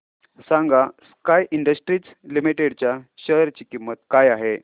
सांगा Sky Industries Limited च्या share ची किंमत काय आहे